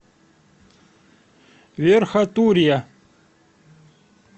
верхотурья